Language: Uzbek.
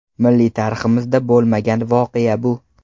Milliy tariximizda bo‘lmagan voqea bu!